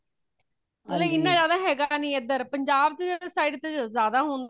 ਬਲਕਿ ਇਨਾਂ ਜਾਂਦਾ ਹੈਗਾ ਨਹੀਂ ਇਧਰ ਪੰਜਾਬ ਦੀ side ਵਿੱਚ ਜਾਂਦਾ ਹੋਂਦਾ